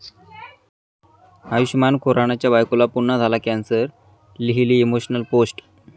आयुष्मान खुरानाच्या बायकोला पुन्हा झाला कॅन्सर, लिहिली इमोशनल पोस्ट